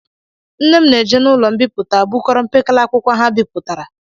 Nne m na-eje n'ụlọ mbipụta bukọrọ mpekele akwụkwọ ha bepụtara